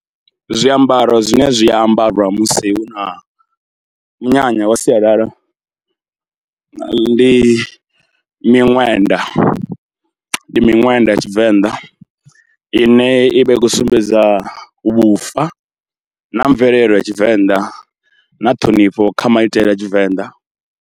Zwiambaro zwine zwi ambarwa musi hu na munyanya wa sialala, ndi miṅwenda, ndi miṅwenda ya Tshivenḓa ine i vha i khou sumbedza vhufa na mvelele ya Tshivenḓa na ṱhonifho kha maitele a Tshivenḓa.